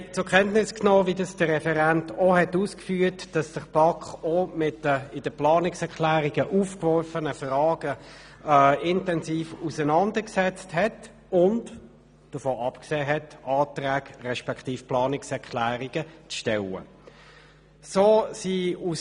Wir haben zur Kenntnis genommen, dass sich die BaK auch mit den in den Planungserklärungen aufgeworfenen Fragen intensiv auseinandergesetzt und davon abgesehen hat, Planungserklärungen zu formulieren.